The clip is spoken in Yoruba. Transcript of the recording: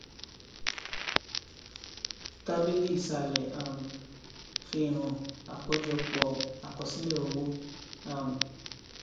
tábìlì isalẹ um fihan àkójọpò àkosílẹ owó um